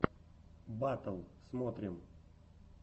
батл смотрим